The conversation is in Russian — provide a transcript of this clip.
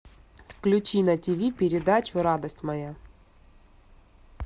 включи на ти ви передачу радость моя